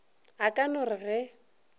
a ka no re ge